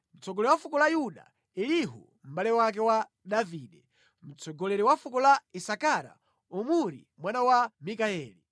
mtsogoleri wa fuko la Yuda: Elihu, mʼbale wake wa Davide; mtsogoleri wa fuko la Isakara: Omuri mwana wa Mikayeli;